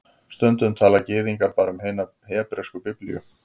Stundum tala Gyðingar bara um hina hebresku Biblíu